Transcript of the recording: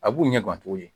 A b'u ɲɛ gan cogo di